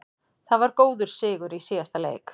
Það var góður sigur í síðasta leik.